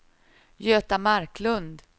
Göta Marklund